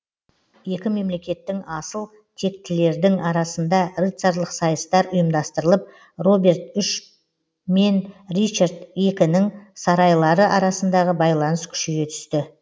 екі мемлекеттің асыл тектілердің арасында рыцарлық сайыстар ұйымдастырылып роберт үш мен ричард екінің сарайлары арасындағы байланыс күшейе түсті